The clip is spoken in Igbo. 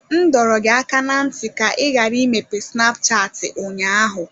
M dọrọ gị aka ná ntị ka ị ghara imepe snapchatị ụnyaahụ!